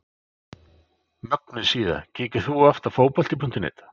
Mögnuð síða Kíkir þú oft á Fótbolti.net?